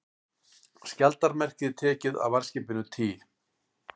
Skjaldarmerkið tekið af varðskipinu Tý